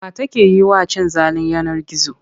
Wa take yi wa cin zalin yanar gizo?